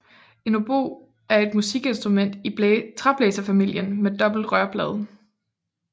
En obo er et musikinstrument i træblæserfamilien med dobbelt rørblad